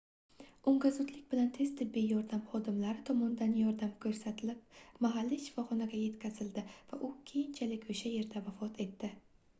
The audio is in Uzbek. unga zudlik bilan tez tibbiy yordam xodimlari tomonidan yordam koʻrsatlib mahalliy shifoxonaga yetkazildi va u keyinchalik oʻsha yerda vafot etdi